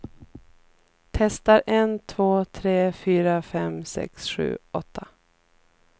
Testar en två tre fyra fem sex sju åtta.